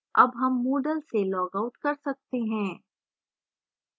अब हम moodle से logout कर सकते हैं